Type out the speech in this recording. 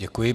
Děkuji.